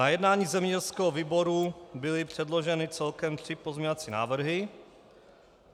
Na jednání zemědělského výboru byly předloženy celkem tři pozměňovací návrhy.